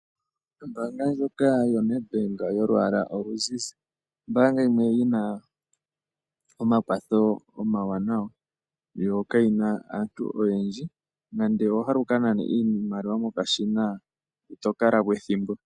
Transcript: Ombaanga ndjoka yoNedbank yolwaala oluzizi, ombaanga yimwe yina omakwatho omawanawa yo kayina aantu oyendji, nande owahala wukanane iimaliwa mokashina ito kalapo ethimbo .